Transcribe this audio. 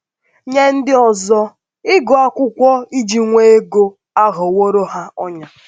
Nye ndị ọzọ, ịgụ akwụkwọ iji nwee ego aghọworo ha ọnyà.